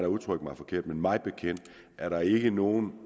udtrykte mig forkert men mig bekendt er der ikke nogen